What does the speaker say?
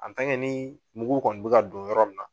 An tan ke nin mugu kɔni be ka don o yɔrɔ nin na